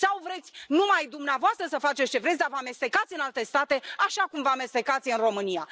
Sau vreți numai dumneavoastră să faceți ce vreți, dar să vă amestecați în alte state, așa cum vă amestecați în România.